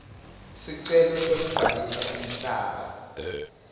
sicelo sekubhalisa umhlaba